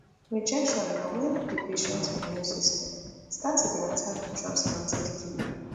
rejection na wen di patient immune system start to dey attack di transplanted kidney